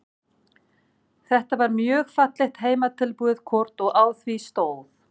Þetta var mjög fallegt heimatilbúið kort og á því stóð